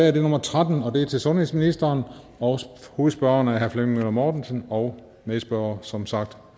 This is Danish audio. er nummer trettende til sundhedsministeren og hovedspørgeren er herre flemming møller mortensen og medspørgeren som sagt